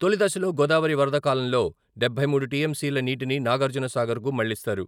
తొలిదశలో గోదావరి వరద కాలంలో డబ్బై మూడు టీఎంసీల నీటిని నాగార్జున సాగర్‌కు మళ్లిస్తారు.